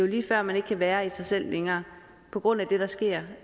lige før man ikke kan være i sig selv længere på grund af det der sker